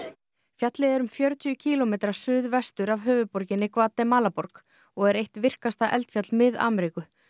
fjallið er um fjörutíu kílómetra suðvestur af höfuðborginni Gvatemalaborg og er eitt virkasta eldfjall Mið Ameríku